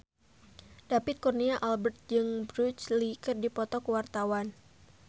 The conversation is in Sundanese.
David Kurnia Albert jeung Bruce Lee keur dipoto ku wartawan